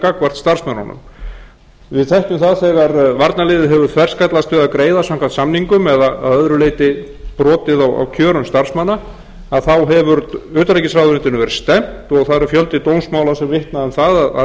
gagnvart starfsmönnunum við þekkjum það þegar varnarliðið hefur þverskallast við að greiða samkvæmt samningum eða að öðru leyti brotið á kjörum starfsmanna þá hefur utanríkisráðuneytinu verið stefnt og það er fjöldi dómsmála sem vitnar um það að